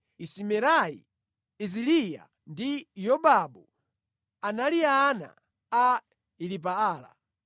Isimerai, Iziliya ndi Yobabu anali ana a Elipaala.